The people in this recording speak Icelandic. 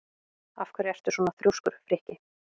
Af hverju ertu svona þrjóskur, Frikki?